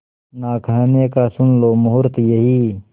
ना कहने का सुन लो मुहूर्त यही